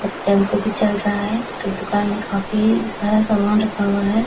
और टेम्पो भी चल रहा है और दुकान में काफी सारा सामान रखा है।